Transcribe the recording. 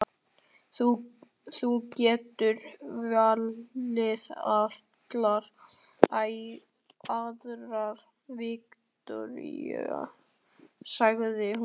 Þú getur valið allar aðrar, Viktoría, sagði hún.